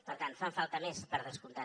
per tant en fan falta més per descomptat